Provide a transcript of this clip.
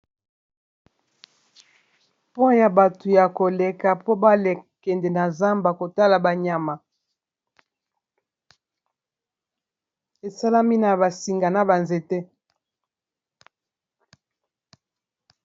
Pont ya bato ya koleka po bakende na zamba kotala ba nyama, esalami na ba singa na ba nzete.